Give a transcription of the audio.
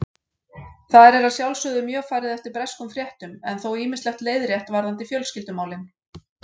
Þar er að sjálfsögðu mjög farið eftir breskum fréttum en þó ýmislegt leiðrétt varðandi fjölskyldumálin